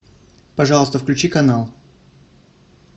пожалуйста включи канал